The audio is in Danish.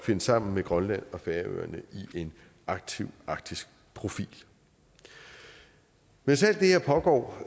finde sammen med grønland og færøerne i en aktiv arktisk profil mens alt det her pågår